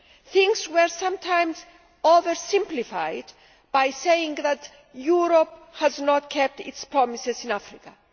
things were sometimes oversimplified by saying that Europe has not kept its promises in Africa'.